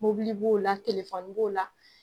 Mɔbili b'o la telefɔni b'o la.